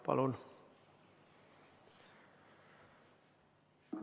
Palun!